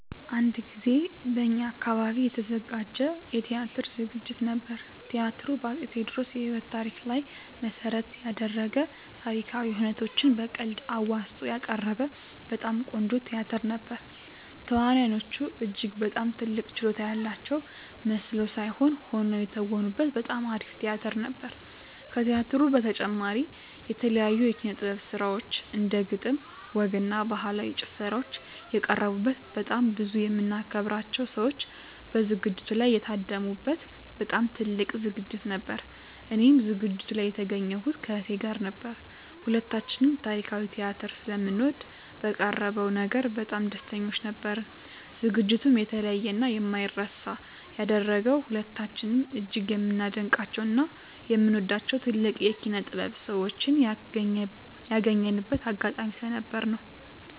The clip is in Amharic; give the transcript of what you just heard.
አንድ ጊዜ በእኛ አካባቢ የተዘጋጀ የቲያትር ዝግጅት ነበር። ቲያትሩ በ አፄ ቴዎድሮስ የህይወት ታሪክ ላይ መሰረት የደረገ ታሪካዊ ሁነቶችን በቀልድ አዋዝቶ ያቀረበ በጣም ቆንጆ ቲያትር ነበር። ተዋናዮቹ እጅግ በጣም ድንቅ ችሎታ ያላቸው መስለው ሳይሆን ሆነው የተወኑበት በጣም አሪፍ ቲያትር ነበር። ከቲያትሩ በተጨማሪም የተለያዩ የኪነ - ጥበብ ስራዎች እንደ ግጥም፣ ወግ እና ባህላዊ ጭፈራዎች የቀረቡበት በጣም ብዙ የምናከብራቸው ሰዎች በዝግጅቱ ላይ የታደሙ በት በጣም ትልቅ ዝግጅት ነበር። እኔም ዝግጅቱ ላይ የተገኘሁት ከእህቴ ጋር ነበር። ሁለታችንም ታሪካዊ ቲያትር ስለምንወድ በቀረበው ነገር በጣም ደስተኞች ነበርን። ዝግጅቱንም የተለየ እና የማይረሳ ያደረገው ሁለታችንም እጅግ የምናደንቃቸው እና የምንወዳቸውን ትልልቅ የኪነ -ጥበብ ሰዎችን ያገኘንበት አጋጣሚ ስለነበር ነው።